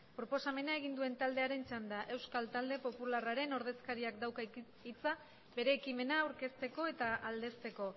proposamena egin duena taldearen txanda euskal talde popularraren ordezkariak dauka hitza bere ekimena aurkezteko eta aldezteko